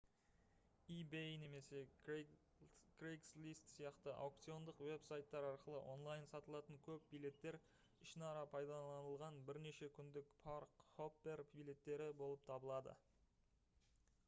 ebay немесе craigslist сияқты аукциондық веб-сайттар арқылы онлайн сатылатын көп билеттер ішінара пайдаланылған бірнеше күндік парк-хоппер билеттері болып табылады